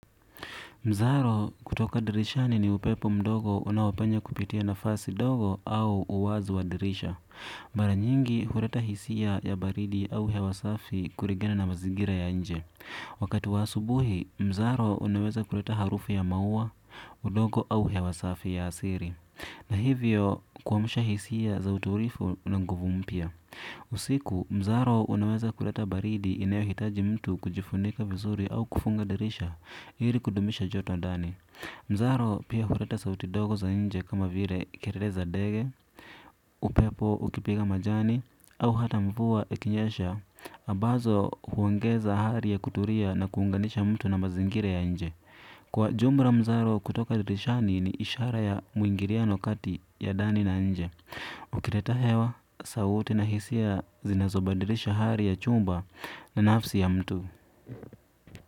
Mzaro, kutoka dirishani ni upepo mdogo unaopenya kupitia nafasi dogo au uwazi wa dirisha. Mara nyingi, huleta hisia ya baridi au hewa safi kulingana na mazingira ya inje. Wakati wa asubuhi, mzaro unaweza kuleta harufu ya maua, udogo au hewa safi ya asiri. Na hivyo, kuamusha hisia za utulivu na nguvu mpya. Usiku mzaro unaweza kuleta baridi inayo hitaji mtu kujifunika vizuri au kufunga dirisha ili kudumisha joto ndani. Mzaro pia huleta sauti dogo za inje kama vile kelele za ndege, upepo ukipiga majani au hata mvua ikinyesha ambazo huongeza hali ya kutulia na kuunganisha mtu na mazingira ya inje. Kwa jumla mzaro wa kutoka dirishani ni ishara ya muingiliano kati ya ndani na inje. Ukileta hewa, sauti na hisia zinazo badilisha hali ya chumba na nafsi ya mtu.